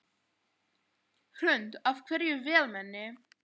Hrund: Af hverju vélmenni?